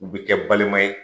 U bi kɛ balima ye.